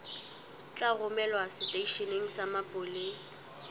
tla romelwa seteisheneng sa mapolesa